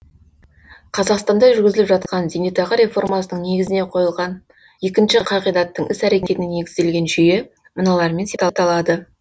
қазақстанда жүргізіліп жатқан зейнетақы реформасының негізіне қойылған екінші қағидаттың іс әрекетіне негізделген жүйе мыналармен сипатталады